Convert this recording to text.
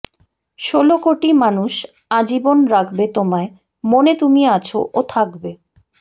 ষোলো কোটি মানুষ আজীবন রাখবে তোমায় মনে তুমি আছ ও থাকবে